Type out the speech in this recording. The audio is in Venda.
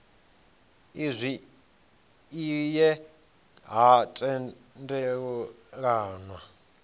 izwi i ye ha tendelanwa